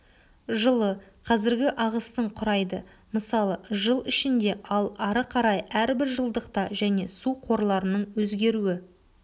жылы қазіргі ағыстың құрайды мысалы жыл ішінде ал ары қарай әрбір жылдықта және су қорларының өзгеруі